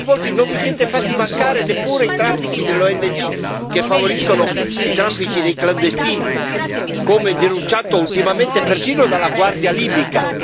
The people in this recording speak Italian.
Siete coinvolti e non vi siete fatti mancare neppure i traffici delle ONG che favoriscono i traffici dei clandestini, come denunciato ultimamente persino dalla guardia libica.